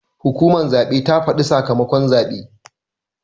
Hukumar zaɓe ta faɗa sakamakon zaɓe.